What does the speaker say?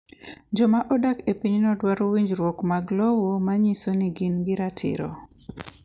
Joma odak e pinyno dwaro winjruok mag lowo ma nyiso ni gin gi ratiro.